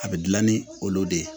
A bɛ dilan ni olu de ye